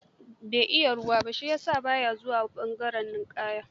Bai iya ruwa ba, shi ya sa ba ya zuwa ɓangaren ninƙaya.